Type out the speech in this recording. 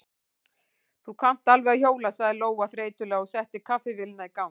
Þú kannt alveg að hjóla, sagði Lóa þreytulega og setti kaffivélina í gang.